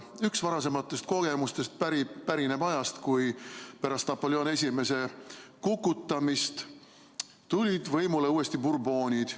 Üks varasematest kogemustest pärineb ajast, kui pärast Napoleon I kukutamist tulid võimule uuesti Bourbonid.